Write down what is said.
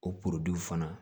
O fana